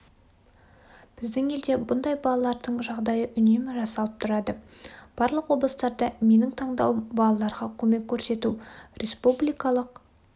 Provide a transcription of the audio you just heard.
біздің елде бұндай балалардың жағдайы үнемі жасалып тұрады барлық облыстарда менің таңдауым балаларға көмек көрсету республикалық